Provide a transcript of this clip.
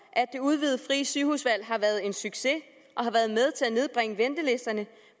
at det udvidede frie sygehusvalg har været en succes og har været med til at nedbringe ventelisterne